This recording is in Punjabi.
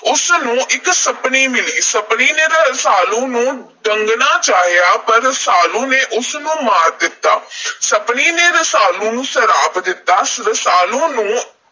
ਉਸ ਨੂੰ ਇਕ ਸੱਪਣੀ ਮਿਲੀ। ਸੱਪਣੀ ਨੇ ਰਸਾਲੂ ਨੂੰ ਡੰਗਣਾ ਚਾਹਿਆ ਪਰ ਰਸਾਲੂ ਨੇ ਉਸ ਨੂੰ ਮਾਰ ਦਿੱਤਾ। ਸੱਪਣੀ ਨੇ ਰਸਾਲੂ ਨੂੰ ਸਰਾਪ ਦਿੱਤਾ। ਰਸਾਲੂ ਨੂੰ